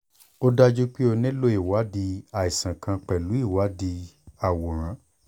ó dájú pé o nílò ìwádìí àìsàn kan pẹ̀lú ìwádìí àwòrán